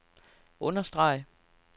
understreg